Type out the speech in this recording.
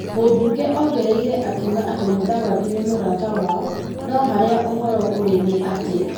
Mũbunge ongereire akiuga atĩ Mũdavadi nĩ mũrata wao, no harĩa ũhoro ũrĩ nĩ atĩ ,